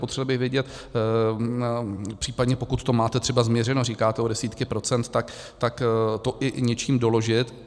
Potřeboval bych vědět případně, pokud to máte třeba změřeno, říkáte o desítky procent, tak to i něčím doložit.